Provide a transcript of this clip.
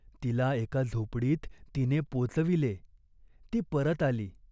तिला एका झोपडीत तिने पोचविले. ती परत आली.